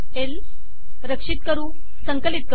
ल रक्षित करु संकलित करु